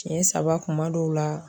Siɲɛ saba kuma dɔw la.